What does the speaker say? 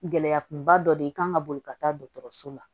Gɛlɛya kunba dɔ de ye kan ka boli ka taa dɔgɔtɔrɔso la